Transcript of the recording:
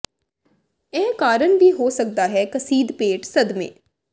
ਇਹ ਕਾਰਨ ਵੀ ਹੋ ਸਕਦਾ ਹੈ ਕਸੀਦ ਪੇਟ ਸਦਮੇ